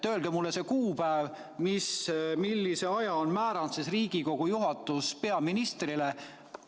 Öelge mulle see kuupäev, millise aja on määranud Riigikogu juhatus peaministrile.